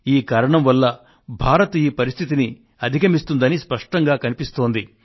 ఈ కారణం వల్ల భారతదేశం ఈ పరిస్థితిని అధిగమిస్తుందని స్పష్టంగా కనిపిస్తోంది